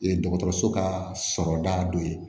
Ye dɔgɔtɔrɔso ka sɔrɔda dɔ ye